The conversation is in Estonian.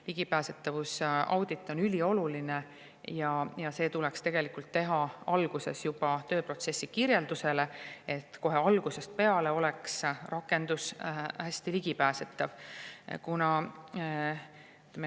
Ligipääsetavuse audit on ülioluline ja see tuleks teha tegelikult juba tööprotsessi kirjeldusele, et kohe algusest peale oleks rakendus hästi ligipääsetav.